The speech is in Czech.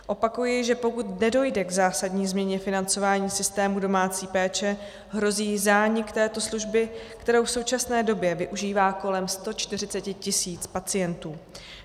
Opakuji, že pokud nedojde k zásadní změně financování systému domácí péče, hrozí zánik této služby, kterou v současné době využívá kolem 140 tisíc pacientů.